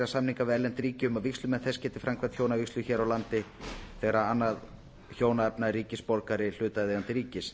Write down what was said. við erlent ríki um að vígslumenn þess geti framkvæmt hjónavígslu hér á landi þegar annað hjónaefna er ríkisborgari hlutaðeigandi ríkis